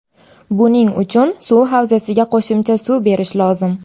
Buning uchun suv havzasiga qo‘shimcha suv berish lozim.